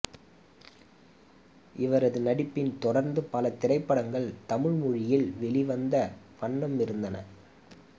இவரது நடிப்பில் தொடர்ந்து பல திரைப்படங்கள் தமிழ் மொழியில் வெளிவந்த வண்ணம் இருந்தன